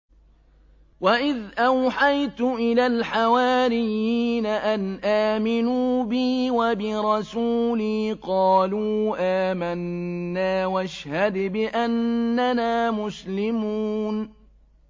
وَإِذْ أَوْحَيْتُ إِلَى الْحَوَارِيِّينَ أَنْ آمِنُوا بِي وَبِرَسُولِي قَالُوا آمَنَّا وَاشْهَدْ بِأَنَّنَا مُسْلِمُونَ